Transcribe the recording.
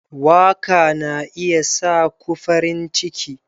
Waka na iya sa ku farin ciki.